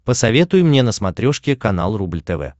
посоветуй мне на смотрешке канал рубль тв